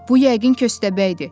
Bu yəqin köstəbəkdir.